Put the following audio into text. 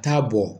Taa bɔ